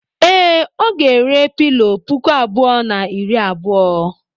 Ee, ọ ga-ere pilọ puku abụọ na iri abuo.